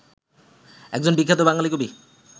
একজন বিখ্যাত বাঙালি কবি